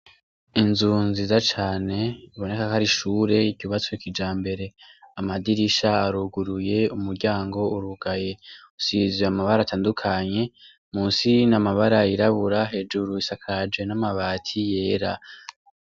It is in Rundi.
Inzu nziza cane biboneka ko ari ishure ryubatswe kijambere. Amadirisha aruguruye, umuryango urugaye. Usize amabara atandukanye, munsi n'amabara yirabura, hejuru isakaje n'amabati yera.